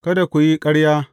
Kada ku yi ƙarya.